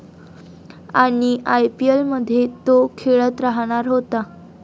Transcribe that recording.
पण आयपीएलमध्ये तो खेळत राहणार होता.